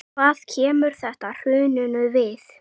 Hvað kemur þetta hruninu við?